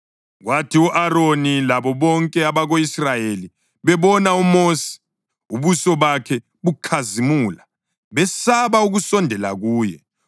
Kwathi u-Aroni labo bonke abako-Israyeli bebona uMosi, ubuso bakhe bukhazimula, besaba ukusondela kuye.